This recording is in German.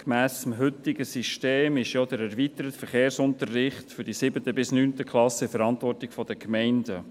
Gemäss heutigem System ist ja der erweiterte Verkehrsunterricht für die 7. bis 9. Klassen in der Verantwortung der Gemeinden.